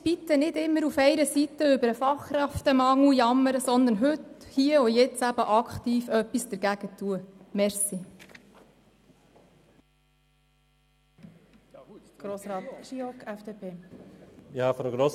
Bitte nicht immer über den Fachkräftemangel jammern, sondern heute, hier und jetzt, aktiv dagegen angehen.